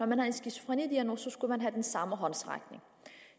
man har en skizofrenidiagnose skal man have den samme håndsrækning